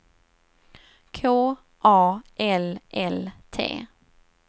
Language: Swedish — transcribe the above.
K A L L T